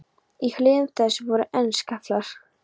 Í hlíðum þess voru enn skaflar.